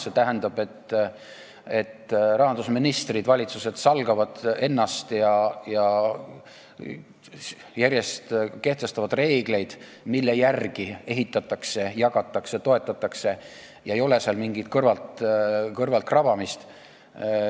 See tähendab, et rahandusministrid, valitsused salgavad ennast ja kehtestavad järjest reegleid, mille järgi ehitatakse, jagatakse ja toetatakse, ei ole seal mingit kõrvaltkrabamist.